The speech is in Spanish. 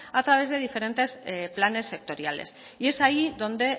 a través de diferentes planes sectoriales y es ahí donde